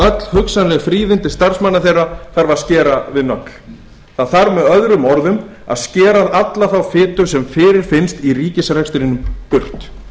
öll hugsanleg fríðindi starfsmanna þeirra þarf að skera við nögl það þarf með öðrum orðum að skera af alla þá fitu sem fyrirfinnst í ríkisrekstrinum burt þar